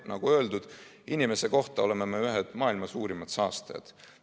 Nagu öeldud, inimese kohta keskmiselt me oleme ühed maailma suurimad saastajad.